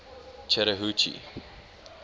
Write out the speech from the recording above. chattahoochee